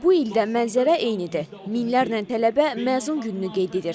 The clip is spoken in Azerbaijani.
Bu il də mənzərə eynidir, minlərlə tələbə məzun gününü qeyd edir.